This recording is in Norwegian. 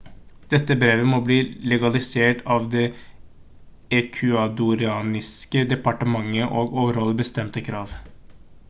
dette brevet må bli legalisert av det ecuadorianske departementet og overholde bestemte krav